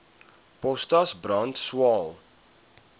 potas brand swael